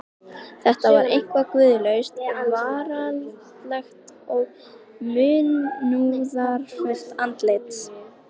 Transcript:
Þetta var einkar guðlaust, veraldlegt og munúðarfullt andlit.